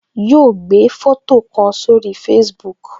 Yo gbé foto kan sórí Facebook